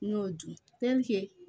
N y'o dun